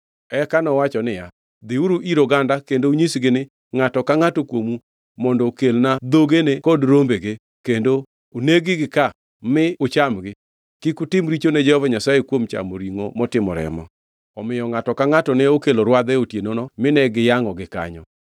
Eka nowacho niya, “Dhiuru ir oganda kendo unyisgi ni, ‘Ngʼato ka ngʼato kuomu mondo okelna dhogene kod rombege, kendo oneg-gi ka mi uchamgi. Kik utim richo ne Jehova Nyasaye kuom chamo ringʼo motimo remo.’ ” Omiyo ngʼato ka ngʼato ne okelo rwadhe otienono mine giyangʼogi kanyo.